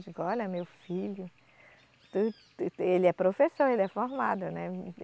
Eu digo, olha, meu filho. Tu, te, ele é professor, ele é formado, né?